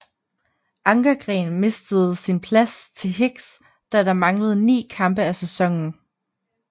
Ankergren mistede sin plads til Higgs da der manglede 9 kampe af sæsonen